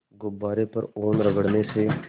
गुब्बारे पर ऊन रगड़ने से